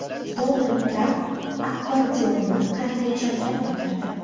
Donald Tramp akkordeonni qanday chalgan bo‘lardi?.